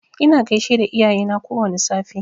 Ina gaishe da iyayena kowwani safe.